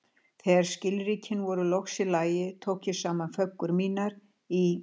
Þegar skilríkin voru loks í lagi, tók ég saman föggur mínar í